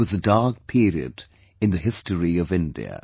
It was a dark period in the history of India